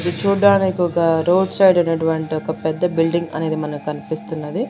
ఇది చూడ్డానికి ఒక రోడ్ సైడ్ ఉన్నటువంటి ఒక పెద్ద బిల్డింగ్ అనేది మనకన్పిస్తున్నది.